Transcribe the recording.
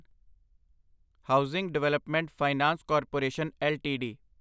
housing development finance corporation LTD